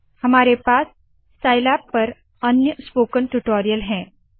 हमारे पास साइलैब पर अन्य स्पोकन ट्यूटोरियल है